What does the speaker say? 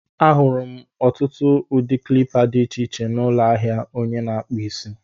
Ahụrụ m ọtụtụ ụdị klipa dị iche iche n'ụlọ ahịa onye na-akpụ isi.